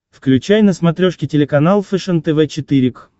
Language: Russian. включай на смотрешке телеканал фэшен тв четыре к